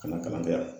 Ka na kalan kɛ yan